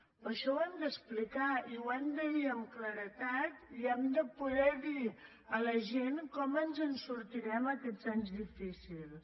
per això ho hem d’explicar i ho hem de dir amb claredat i hem de poder dir a la gent com ens en sortirem aquests anys difícils